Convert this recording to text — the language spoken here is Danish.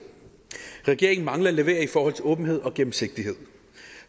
regeringen mangler at levere i forhold til åbenhed og gennemsigtighed